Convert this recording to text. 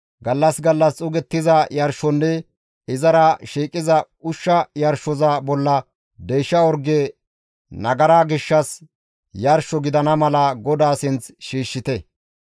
Gallas gallas xuugettiza yarshonne izara shiiqiza ushsha yarshoza bolla deysha orge nagara gishshas yarsho gidana mala GODAA sinth shiishshite.